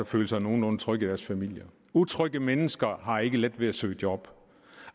føle sig nogenlunde trygge i deres familier utrygge mennesker har ikke let ved at søge job